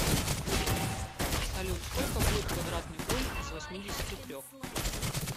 салют сколько будет квадратный корень из восьмидесяти трех